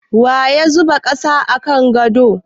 Waya zuba ƙasa a kan gado?